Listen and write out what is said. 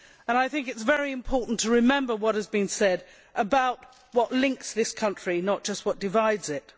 It is very important to remember what has been said about what links this country, and not just what divides it.